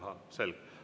Ahah, selge.